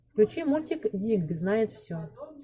включи мультик зиг знает все